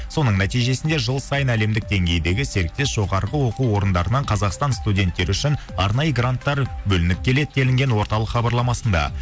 соның нәтижесінде жыл сайын әлемдік деңгейдегі серіктес жоғарғы оқу орындарынан қазақстан студенттері үшін арнайы гранттар бөлініп келеді делінген орталық хабарламасында